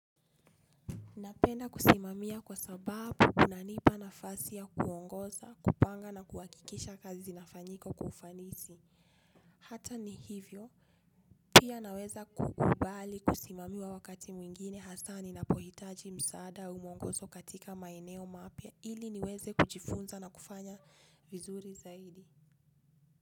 Napenda kusimamia kwa sababu unanipa nafasi ya kuongoza kupanga na kuhakikisha kazi inafanyika kwa ufanisi hata ni hivyo. Pia naweza kukubali kusimamiwa wakati mwingine hasa ninapohitaji msaada au mwongozo katika maeneo mapya ili niweze kujifunza na kufanya vizuri zaidi.